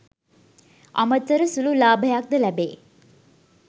අමතර සුළු ලාභයක්ද ලැබේ